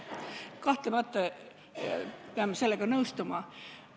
Kahtlemata peame sellega nõustuma.